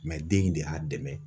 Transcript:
den in de y'a dɛmɛ.